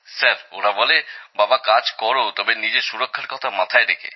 sir ওরা বলে বাবা কাজ করো তবে নিজের সুরক্ষার কথা মাথায় রেখে